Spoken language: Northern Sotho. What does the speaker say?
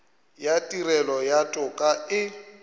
ya tirelo ya toka e